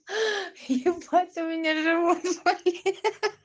аха ебать у меня живот болит